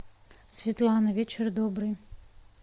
светлана вечер добрый